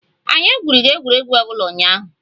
Anyi egwurọ egwuregwu obụla unyahụ